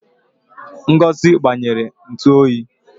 Ngozi gbanyere ntu oyi